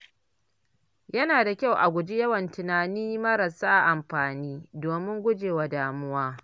Yana da kyau a guji yawan tunani maras amfani domin guje wa damuwa.